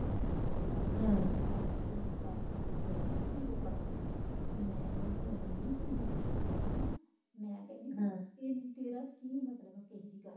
ਸਾਡੇ ਘਰ ਵਿੱਚ ਖਿਲਾਫ ਬੋਲੇ ਨਾ ਧੀ ਦੇ ਸ਼ਰਾਬ ਮੈਂ ਓਹਨੂੰ ਇੰਨੀ ਕੇ ਨੋਕਾ ਟੋਕੀ ਕਰਨੀ ਨਾ ਮੈਂ ਕਹਿਣੀ ਤੇਰਾ ਹਮ ਕਿ ਮਤਲਬ ਕਿ ਕਿਸੇ ਦੀ ਗੱਲ